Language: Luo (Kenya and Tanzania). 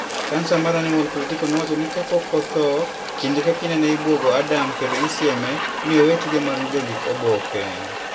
Kansa mar Animal Político nowacho ni kapok otho, kinde ka kinde ne ibwogo Adame kendo sieme ni owe tije mar jondik oboke.